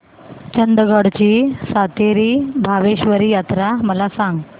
चंदगड ची सातेरी भावेश्वरी यात्रा मला सांग